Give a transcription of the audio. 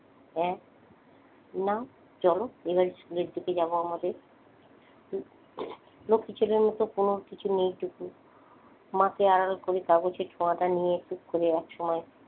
হ্যাঁ নাও চলো এবার school এর দিকে যাব আমাদের লক্ষী ছেলের মতো কোন কিছু নেই টুকু মাকে আড়াল করে কাগজের ঠোঙা টা নিয়ে টুক করে একসময়,